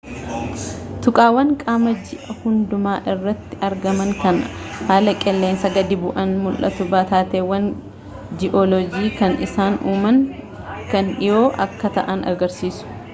tuqaawwan qaama ji'aa hunduma irratti argamaan kan haala qilleensaa gadi bu'aan mul'atu taateewwan gi'oolojii kan isaan uuman kan dhiyoo akka ta'an agarsiisu